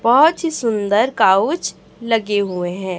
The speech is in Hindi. बहुत ही सुंदर काउच लगे हुए हैं।